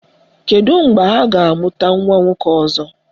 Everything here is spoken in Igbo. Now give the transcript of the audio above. Kedu mgbe ha ga-amụta nwa nwoke ọzọ?